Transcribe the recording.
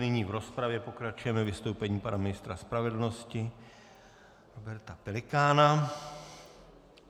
Nyní v rozpravě pokračujeme vystoupením pana ministra spravedlnosti Roberta Pelikána.